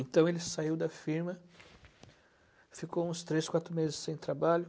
Então ele saiu da firma, ficou uns três, quatro meses sem trabalho.